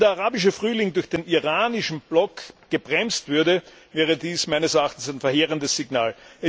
Wenn der arabische Frühling durch den iranischen Block gebremst würde, wäre dies ein verheerendes Signal.